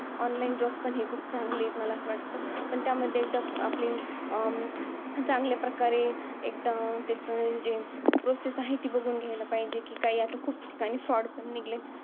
Online job पण खूप चांगलं आहे, असं मला वाटतं. पण त्यामध्ये एकदा आपली, अं चांगल्या प्रकारे, एकदम त्याचं जे process आहे, ती बघून घ्यायल पाहिजे, कि आता खूप ठिकाणी fraud पण निघलेत.